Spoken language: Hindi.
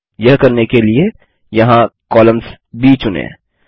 यह करने के लिए यहाँ कॉलम्स ब चुनें